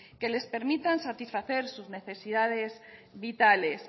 que les permitan satisfacer sus necesidades vitales